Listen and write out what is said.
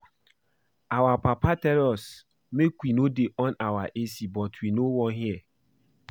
Our papa tell us make we no dey on our A C but we no wan hear